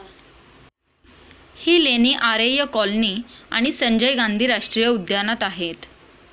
ही लेणी आरेय कॉलोनी आणि संजय गांधी राष्ट्रीय उद्यानात आहेत.